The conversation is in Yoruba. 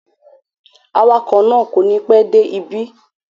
Awakọ̀ náà kò ní pẹ́ dé ibí